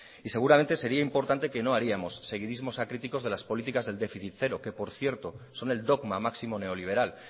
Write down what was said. y seguramente sería importante que no haríamos seguidísimos acríticos de las políticas del déficit cero que por cierto son el dogma máximo neoliberal